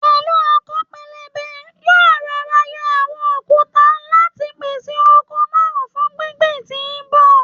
Pẹ̀lú ọkọ́ pẹlẹbẹ, yóò rọọra yọ àwọn òkúta láti pèsè oko náà fun gbíngbìn tí ń bọ̀.